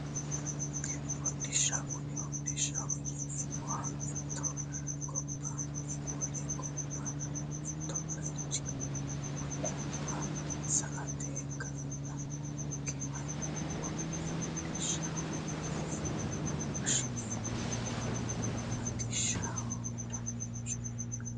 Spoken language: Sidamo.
Hodhishsha kuni hodhishshaho yineemmohu mitte gobbanni wole gobba mittu baychinni wolewa sa"ate kaa'lannonkeha konne hodhishshaho yine woshshineemmo hidhishshu danchaho yaate